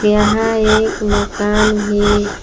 यहां एक मकान भी--